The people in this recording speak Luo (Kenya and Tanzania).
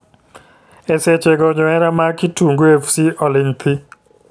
E seche go johera mag Kitungu fc oling thii.